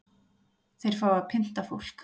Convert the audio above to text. Þeir fá að pynta fólk